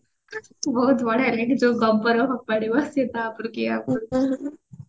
ବହୁତ ବଢିଆ ଲାଗେ ଯୋଉ ଗୋବର ଫୋପାଡିବ ସିଏ ତା ଉପରକୁ ଇଏ ୟା ଉପରକୁ